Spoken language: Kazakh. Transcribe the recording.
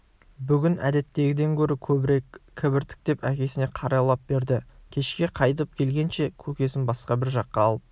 бүгін әдеттегіден гөрі көбірек кібіртіктеп әкесіне қарайлай берді кешке қайтып келгенше көкесін басқа бір жаққа алып